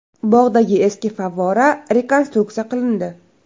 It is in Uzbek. Bog‘dagi eski favvora rekonstruksiya qilindi.